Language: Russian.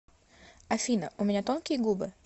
афина у меня тонкие губы